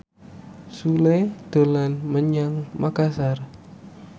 Sule dolan menyang Makasar